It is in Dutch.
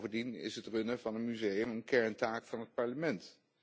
Bovendien is het runnen van een museum een kerntaak van het Parlement.